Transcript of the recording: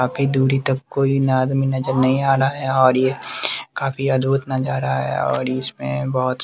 काफी दूरी तक कोई ना आदमी नजर नहीं आ रहा है और ये काफी अद्भुत नजारा है और इसमें बहोत स --